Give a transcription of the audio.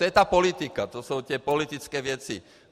To je ta politika, to jsou ty politické věci.